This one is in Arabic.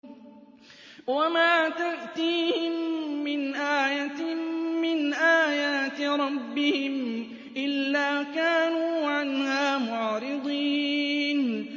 وَمَا تَأْتِيهِم مِّنْ آيَةٍ مِّنْ آيَاتِ رَبِّهِمْ إِلَّا كَانُوا عَنْهَا مُعْرِضِينَ